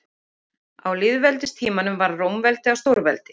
Á lýðveldistímanum varð Rómaveldi að stórveldi.